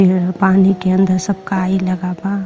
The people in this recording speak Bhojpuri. यह पानी के अंदर सब काई लगा बा।